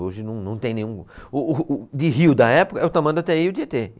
Hoje não, não tem nenhum. O, o, de rio da época, é o Tamanduateí e o Tietê